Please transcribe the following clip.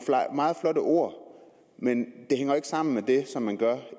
meget flotte ord men det hænger ikke sammen med det som man gør